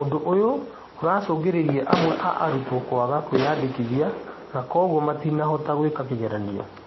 Ũndũ ũyũ ũracũngĩrĩirie amwe a arutwo kwaga kwĩyandĩkithia na koguo matinahota gwĩka igeranio